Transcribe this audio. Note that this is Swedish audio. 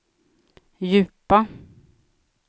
djupa